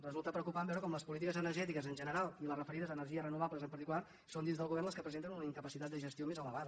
resulta preocupant veure com les polítiques energètiques en general i les referides a energies renovables en particular són dins del govern les que presenten una incapacitat de gestió més elevada